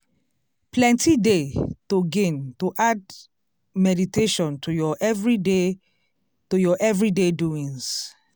plenty dey to gain to add meditation to ur everyday to ur everyday doings.